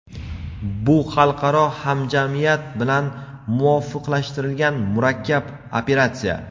bu xalqaro hamjamiyat bilan muvofiqlashtirilgan murakkab operatsiya.